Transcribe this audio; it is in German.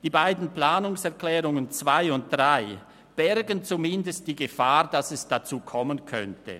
Die beiden Planungserklärungen 2 und 3 bergen zumindest die Gefahr, dass es dazu kommen könnte.